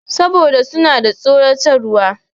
Saboda suna da tsoratarwa.